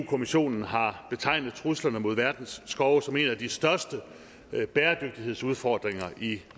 kommissionen har betegnet truslerne mod verdens skove som en af de største bæredygtighedsudfordringer i